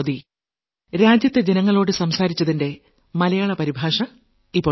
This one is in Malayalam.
മനസ്സു പറയുന്നത്